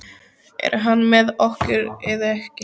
Er hann með okkur eða ekki?